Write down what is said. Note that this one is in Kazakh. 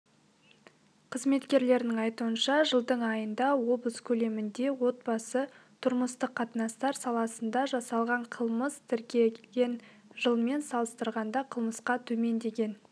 қызметкерлерінің айтуынша жылдың айында облыс көлемінде отбасы-тұрмыстық қатынастар саласында жасалған қылмыс тіркеген жылмен салыстырғанда қылмысқа төмендеген